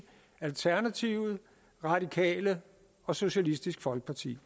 alternativet radikale og socialistisk folkeparti